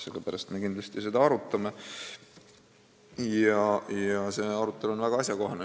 Sellepärast me seda kindlasti arutame ja see arutelu on väga ajakohane.